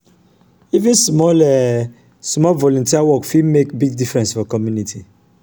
even small um volunteer work fit make big difference for community.